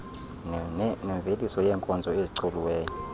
nemveliso yeenkozo ezicoliweyo